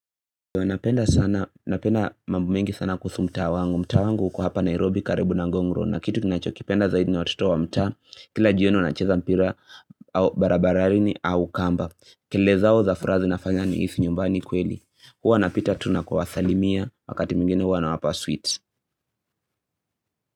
Napenda sana, napenda mambo mengi sana kuhusu mtaa wangu, mtaa wangu uko hapa Nairobi karibu na ngong road na kitu ninachokipenda zaidi na watoto wa mtaa, kila jioni wanacheza mpira, barabarani au kamba, kelele zao za furaha zinafanya nihisi nyumbani kweli, huwa napita tu na kuwasalimia, wakati mwingine huwa nawapa sweet.